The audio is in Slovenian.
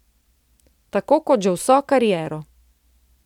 Tako kot že vso kariero.